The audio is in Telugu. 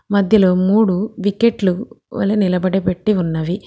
మధ్యలో మూడు వికెట్లు వలె నిలబడే పెట్టి ఉన్నవి.